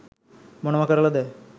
මොනව කරලද